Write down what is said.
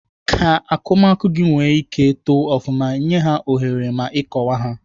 Ka akụmakụ nwee ike ito ofụma, nyee ha ohere ma ịkọwa ha.